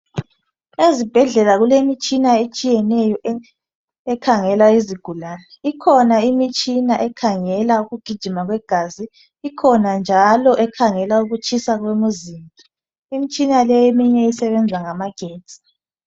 Ezibhedlela kulemitshina etshiyeneyo ekhangela izigulane, ikhona imitshina ekhangela ukugijima kwegazi, ikhona njalo ekhangela ukutshisa kwemizimba, imitshina le eminye isebenza ngamagetsi.